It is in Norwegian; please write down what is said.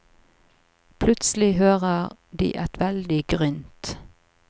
Plutselig hører de et veldig grynt.